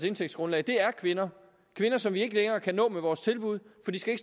indtægtsgrundlag er kvinder kvinder som vi ikke længere kan nå med vores tilbud for de skal